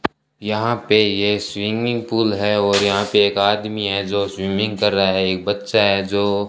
यहां पे यह स्विमिंग पूल है और यहां पे एक आदमी है जो स्विमिंग कर रहा है एक बच्चा है जो --